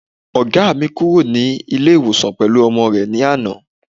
Ọ̀gá mi kúrò ní ilé ìwòsan pẹ̀lú ọmọ rẹ ní àná